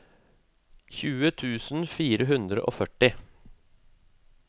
tjue tusen fire hundre og førti